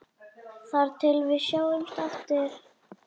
Þar til við sjáumst aftur.